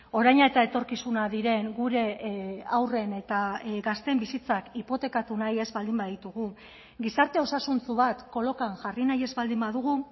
oraina eta etorkizuna diren gure haurren eta gazteen bizitzak hipotekatu nahi ez baldin baditugu gizarte osasuntsu bat kolokan jarri nahi ez baldin badugu